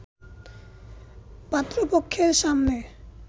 পাত্রপক্ষের সামনে